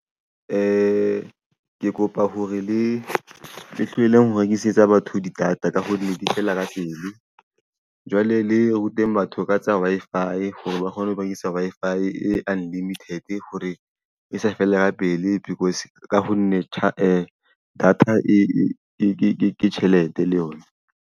Ke kopa hore le tlohelleng ho rekisetsa batho di-data ka hore di feela ka pele. Jwale le rute batho ka tsa Wi-Fi hore ba kgone ho ba isa Wi-Fi e unlimited hore e sa fele ka pele because ka ho nne data ke tjhelete le yona.